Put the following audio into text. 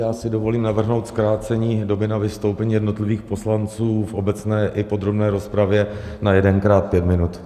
Já si dovolím navrhnout zkrácení doby na vystoupení jednotlivých poslanců v obecné i podrobné rozpravě na jedenkrát pět minut.